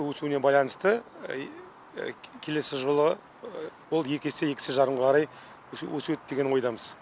өсуіне байланысты келесі жылы ол екі есе екі есе жарымға қарай деген ойдамыз